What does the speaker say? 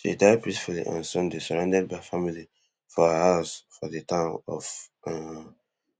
she die peacefully on sunday surrounded by family for her house for di town of um